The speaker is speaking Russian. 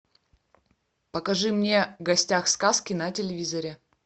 покажи мне в гостях у сказки на телевизоре